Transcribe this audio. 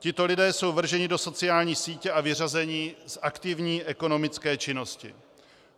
Tito lidé jsou vrženi do sociální sítě a vyřazeni z aktivní ekonomické činnosti.